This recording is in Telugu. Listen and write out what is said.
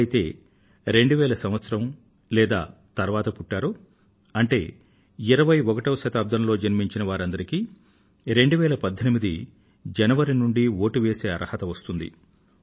ఎవరైతే 2000 సంవత్సరం లేదా తరువాత పుట్టారో అంటే 21వ శతాబ్దంలో జన్మించిన వారందరికీ 2018 జనవరి నుండీ వోటు వేసే అర్హత వస్తుంది